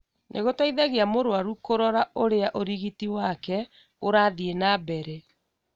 nĩ gũteithagia mũrũaru kũrora ũrĩa ũrigiti wake ũrathiĩ na mbere.